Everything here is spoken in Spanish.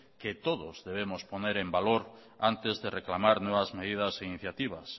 que todos debemos poner en valor antes de reclamar nuevas medidas e iniciativas